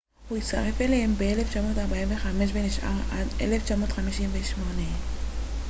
הוא הצטרף אליהם ב-1945 ונשאר עד 1958